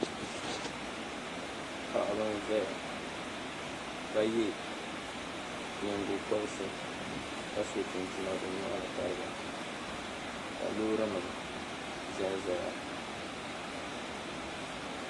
paɣiba n-zaya ka ye nyingokɔriti ka so chinchina bɛ nyɔri ni tariga ka loorinima zanzaya